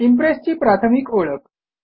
impress ची प्राथमिक ओळख